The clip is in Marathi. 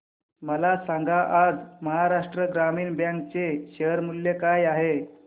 मला सांगा आज महाराष्ट्र ग्रामीण बँक चे शेअर मूल्य काय आहे